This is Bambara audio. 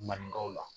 Maninkaw la